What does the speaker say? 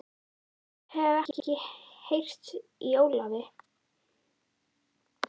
Ég hef ekkert heyrt í Ólafi.